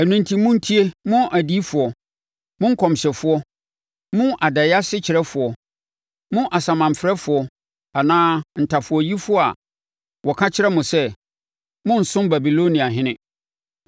Ɛno enti monntie mo adiyifoɔ, mo nkɔmhyɛfoɔ, mo adaeɛ asekyerɛfoɔ, mo asamanfrɛfoɔ anaa mo ntafowayifoɔ a wɔka kyerɛ mo sɛ, “Morensom Babiloniahene.”